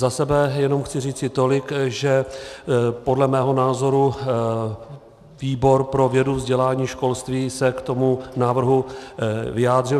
Za sebe jenom chci říci tolik, že podle mého názoru výbor pro vědu, vzdělání, školství se k tomu návrhu vyjádřil.